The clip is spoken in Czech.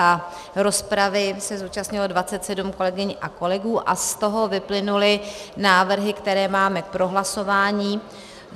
A rozpravy se zúčastnilo 27 kolegyň a kolegů a z toho vyplynuly návrhy, které máme k prohlasování.